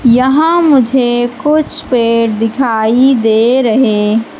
यहां मुझे कुछ पेड़ दिखाई दे रहे--